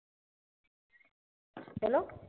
hello